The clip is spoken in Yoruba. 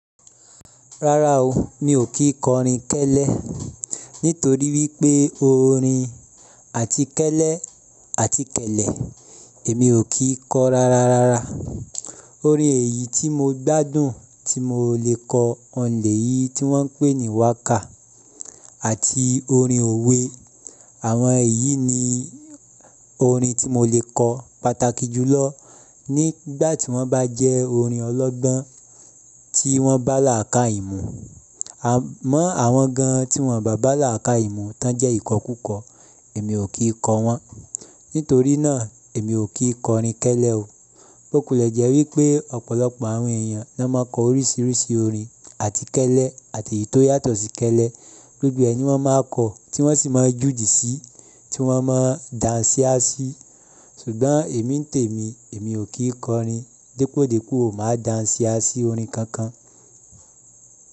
Rárá o, mi ò kí kọ orin kẹ́lẹ́ nítorí wípé orin àtíkẹ́lẹ́ àtíkẹ̀lẹ̀ èmi ò kí kọ rárá rárá. Orin èyí tí mo gbádùn tí mo lè kọ ọ̀nlè yi tí wọ́n ń pè ní waka àti orin òwe. Àwọn èyí ni orin tí mo lè kọ pàtàkì jùlọ nígbà tí wọ́n bá jẹ́ orin ọlọ́gbọ́n tí wọ́n bá làákàìmú. Àmọ́ àwọn gan tí wọ́n bá làákàìmú tán jẹ́ ìkọkùkọ, èmi ò kí kọ wọn. Nítorí náà, èmi ò kí kọ orin kẹ́lẹ́ o. Bókulẹ̀ jẹ́ wípé ọ̀pọ̀lọpọ̀ àwọn èèyàn ló máa kọ oríṣiríṣi orin àtíkẹ́lẹ́ àti èyí tó yàtọ̀ sí kẹ́lẹ́. Gbogbo rẹ̀ ní wọ́n máa kọ, tí wọ́n sì máa jùdí síi, tí wọ́n máa dànsíásí. Ṣùgbọ́n èmi ń tèmi, èmi ò kí kọ orin. Dípòdípò máa dànsíásí orin kankan.